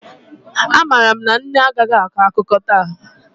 Amaara m na nne agaghị akọ akụkọ taa